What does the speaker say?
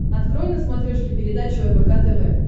открой на смотрешке передачу рбк тв